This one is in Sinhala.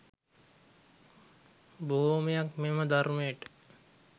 බොහෝමයක් මෙම ධර්මයට